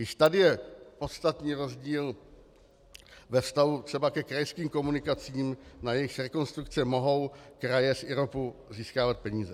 Již tady je podstatný rozdíl ve vztahu třeba ke krajským komunikacím, na jejichž rekonstrukce mohou kraje z IROPu získávat peníze.